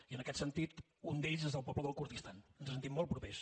i en aquest sentit un d’ells és el poble del kurdistan ens hi sentim molt propers